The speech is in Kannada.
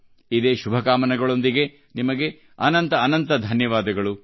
ಇದೇ ಶುಭಕಾಮನೆಗಳೊಂದಿಗೆ ನಿಮಗೆಲ್ಲರಿಗೂ ಅನಂತಾನಂತ ಧನ್ಯವಾದಗಳು